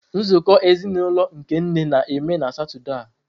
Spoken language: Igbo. Nzukọ ezinụlọ nke nne na-eme na Satọde a.